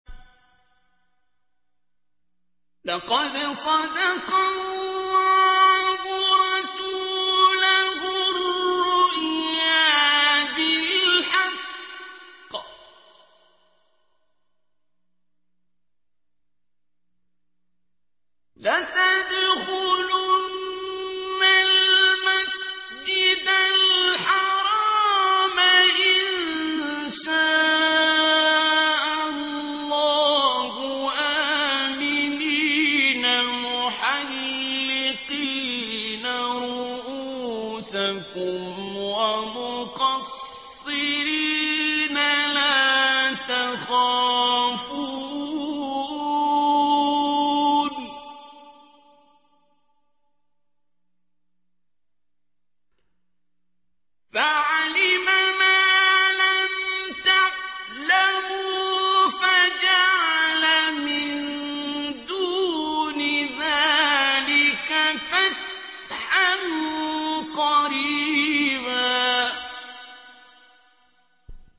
لَّقَدْ صَدَقَ اللَّهُ رَسُولَهُ الرُّؤْيَا بِالْحَقِّ ۖ لَتَدْخُلُنَّ الْمَسْجِدَ الْحَرَامَ إِن شَاءَ اللَّهُ آمِنِينَ مُحَلِّقِينَ رُءُوسَكُمْ وَمُقَصِّرِينَ لَا تَخَافُونَ ۖ فَعَلِمَ مَا لَمْ تَعْلَمُوا فَجَعَلَ مِن دُونِ ذَٰلِكَ فَتْحًا قَرِيبًا